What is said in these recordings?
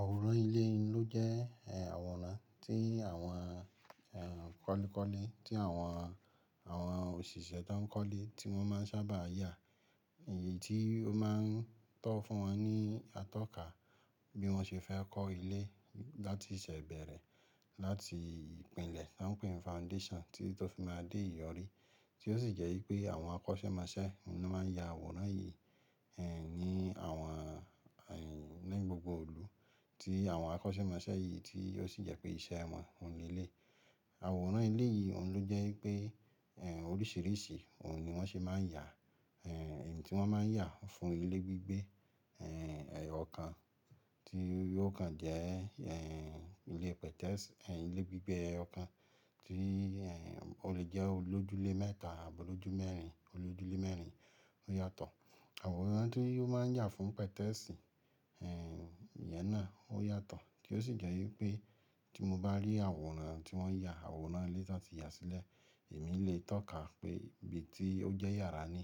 Àwòrán ilé n ló jẹ́ àwòrán tí àwọn kọ́lékọ́lé, tí àwọn, àwọn òṣìṣẹ́ tó ń kọ́lé tí wọ́n máa ń sábà yà, èyí tí ó máa ń tọ́ fún wọn ní atọ́ka bí wọ́n ṣe fẹ́ kọ́ ilé láti ìṣẹ̀bẹ̀rẹ̀, láti ìpìlẹ̀ tó ń pe ni foundation tití tó fi máa dé ìyọrí tí ó sì jẹ́ wípé àwọn akọ́ṣẹ́mọṣẹ́ oun ni wọ́n máa ń ya àwòrán yìí, ẹ́, ní àwọn, ẹ́, ní gbogbo ìlú tí àwọn akọ́ṣẹ́mọṣẹ́ yìí tí ó sì jẹ́ pé iṣẹ́ wọn òní eleyi. Àwòrán ilé yìí òun ló jẹ́ wípé, ẹ́, oríṣìíríṣìí òun ni wọ́n ṣe máa ń yà, ẹ́, èyí tí wọ́n máa ń yà fún ilé gbígbé, ẹ́, ọ̀kan tí ó kan jẹ́, ẹ́, ilé pẹtẹ́ẹ̀sì, ẹ́, ilé gbígbé eyokan tí, ẹ́, ó lè jẹ́ olójúlé mẹ́ta, àbi olojú mẹ́rin, olójúlé mẹ́rin ó yàtọ̀. Àwòrán tí ó máa ń yà fún pẹtẹ́ẹ̀sì, ẹ́, ìyẹn náà ó yàtọ̀ tí ó sì jẹ́ wípé tí mo bá rí àwòrán tí wọ́n yà, àwòrán ilé tan ti ya sílẹ̀, èmi lè tọ́ka pé ibi tí ó jẹ́ yàrá ni,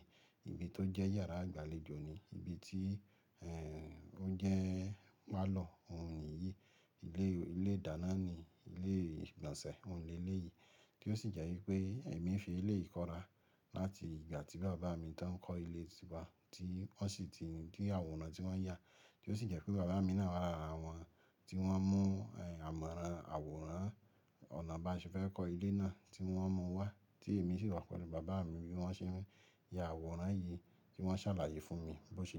ibi tó jẹ́ yàrá àgbàlejò ni, ibi tí, ẹ́, ó jẹ́ párlor òun niyìí, ilé, ilé ìdáná niyii, ilé ìgbọ̀nsẹ̀ òun ni eléyìí tí ó sì jẹ́ wípé èmi fi ilé yìí kọ́ra láti ìgbà tí bàbá mi tań kọ́ ilé tiwa tí wọ́n sì ti di àwòrán tí wọ́n yà tí ó sì jẹ́ pé bàbá mi náà wà lára àwọn tí wọ́n mú, ẹ́, àmọ̀ran àwòrán ọ̀nà bá ṣe fẹ́ kọ́ ilé náà tí wọ́n mú wá tí èmi sì wà pẹ̀lú bàbá mi bí wọ́n ṣe ń ya àwòrán yìí ti wọ́n ṣàlàyé fún mi bó ṣe jẹ́.